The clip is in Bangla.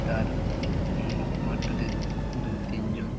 তার উম মাঠটাতে দুতিন জন--